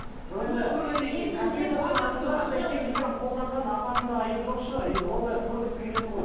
жоқ енді қолданған апаның да айыбы жоқ шығар енді ол да көргісі келеді ғой